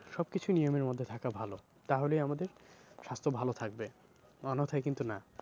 সব কিছু নিয়মের মধ্যে থাকা ভালো তাহলেই আমাদের স্বাস্থ্য ভালো থাকবে অন্যথায় কিন্তু না।